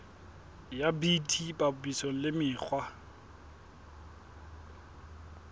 ya bt papisong le mekgwa